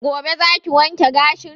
Gobe za ki wanke gashin?